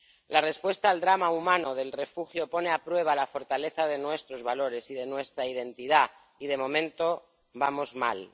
La respuesta al drama humano del refugio pone a prueba la fortaleza de nuestros valores y de nuestra identidad y, de momento, vamos mal.